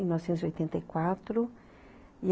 Mil novecentos e oitenta e quatro e